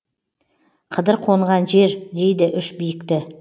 қыдыр қонған жер дейді үш биікті